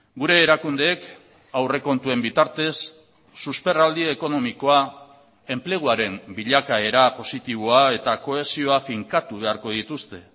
gure erakundeek aurrekontuen bitartez susperraldi ekonomikoa enpleguaren bilakaera positiboa eta kohesioa finkatu beharko dituzte